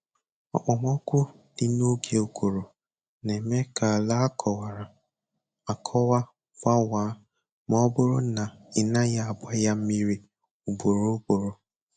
Okpomọkụ dị n'oge ụguru na-eme ka àlà a kọwara, akọwa gbawaa ma ọ bụrụ na ị naghị agba ya mmiri ugboro ugboro.